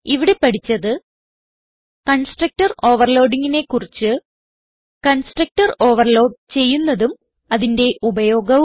ഇവിടെ പഠിച്ചത് കൺസ്ട്രക്ടർ overloadingനെ കുറിച്ച് കൺസ്ട്രക്ടർ ഓവർലോഡ് ചെയ്യുന്നതും അതിന്റെ ഉപയോഗവും